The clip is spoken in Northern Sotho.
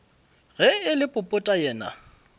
ge e le popota yena